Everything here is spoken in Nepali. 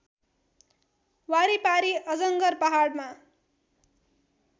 वारिपारि अजङ्गर पहाडमा